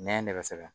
Nɛ ne bɛ se ka